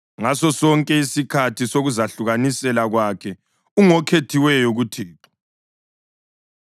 Ngasosonke isikhathi sokuzahlukanisela kwakhe ungokhethiweyo kuThixo.